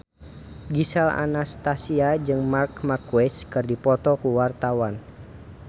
Gisel Anastasia jeung Marc Marquez keur dipoto ku wartawan